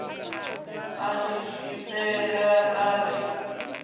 a ni zwifhelela a ri